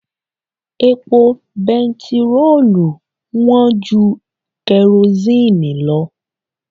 Epo bẹntiróòlù wọ̀n ju kẹrosini lọ.